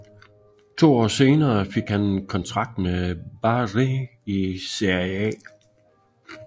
To år senere fik han kontrakt med Bari i Serie A